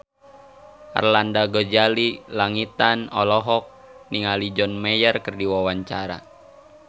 Arlanda Ghazali Langitan olohok ningali John Mayer keur diwawancara